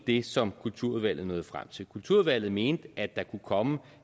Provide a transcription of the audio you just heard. det som kulturudvalget nåede frem til kulturudvalget mente at der kunne komme